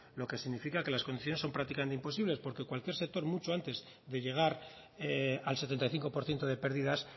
lo que significa que las condiciones son prácticamente imposibles porque cualquier sector mucho antes de llegar al setenta y cinco por ciento de pérdidas